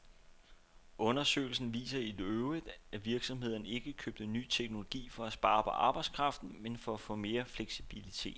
Undersøgelsen viser i øvrigt, at virksomhederne ikke købte ny teknologi for at spare på arbejdskraften, men for at få mere fleksibilitet.